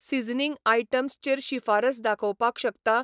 Seasoning items चेर शिफारस दाखोवपाक शकता?